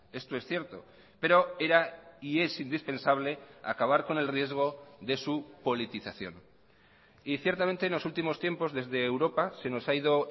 esto es cierto pero era y es indispensable acabar con el riesgo de su politización y ciertamente en los últimos tiempos desde europa se nos ha ido